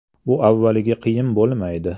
“Bu avvaliga qiyin bo‘lmaydi.